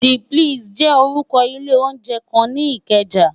D plési jè órùkò ilé óunjè kán ni Ikeja